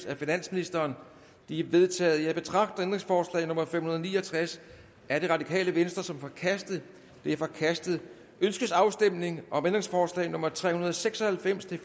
af finansministeren de er vedtaget jeg betragter ændringsforslag nummer fem hundrede og ni og tres af rv som forkastet det er forkastet ønskes afstemning om ændringsforslag nummer tre hundrede og seks og halvfems til